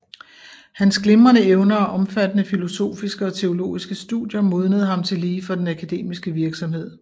Hans glimrende evner og omfattende filosofiske og teologiske studier modnede ham tillige for den akademiske virksomhed